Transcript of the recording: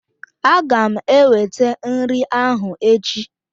Aga m ewete nri ahụ echi